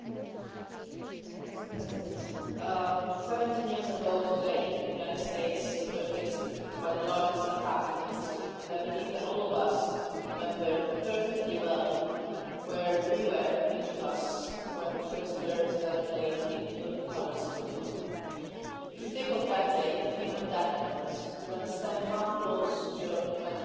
Mr President, 17 years ago today, the USA was hit by the largest attack in its history and I believe that all of us remember perfectly well where we were, each of us, when we first heard that a plane had hit the twin towers in New York. If you think of that day, if you think of that moment, you understand how close Europe and America have always been